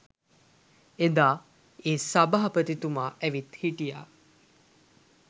එදා ඒ සභාපතිතුමා ඇවිත් හිටියා